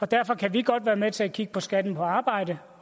derfor kan vi godt være med til at kigge på skatten på arbejde